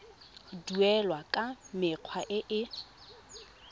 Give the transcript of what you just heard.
duelwa ka mekgwa e e